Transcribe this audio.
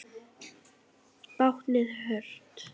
Báknið burt?